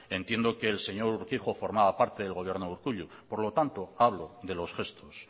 entiendo que el señor urquijo formaba parte del gobierno de urkullu por lo tanto hablo de los gestos